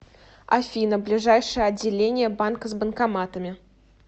афина ближайшее отделение банка с банкоматами